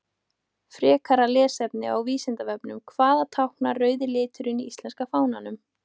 Frekara lesefni á Vísindavefnum: Hvað táknar rauði liturinn í íslenska fánanum?